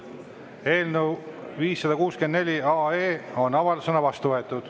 Eelnõu 564 on avaldusena vastu võetud.